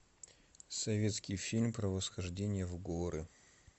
советский фильм про восхождение в горы